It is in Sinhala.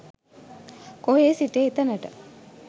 කොහේ සිට එතනට